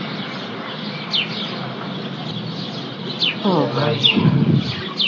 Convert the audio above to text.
ও ভাই।